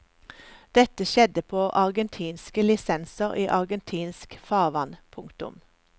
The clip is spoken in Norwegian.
Dette skjedde på argentinske lisenser i argentinsk farvann. punktum